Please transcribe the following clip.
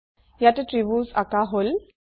ইয়াতে ত্ৰিভূজ অকাঁ হল